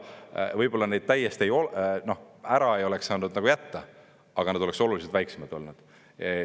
Võib-olla neid täiesti ära ei oleks saanud jätta, aga nad oleksid oluliselt väiksemad olnud.